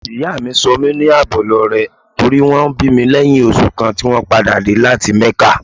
Ìyá mi sọ mí ní Àbọ̀lọrẹ nítorí wón bí mi lẹ́yìn oṣù kan tí wón padà dé láti Mẹ́kà.